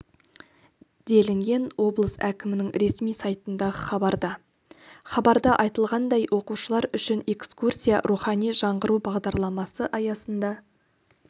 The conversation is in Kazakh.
делінген облыс әкімінің ресми сайтындағы хабарда хабарда айтылғандай оқушылар үшін экскурсия рухани жаңғыру бағдарламасы аясында